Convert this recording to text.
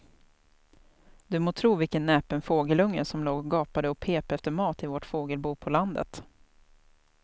Du må tro vilken näpen fågelunge som låg och gapade och pep efter mat i vårt fågelbo på landet.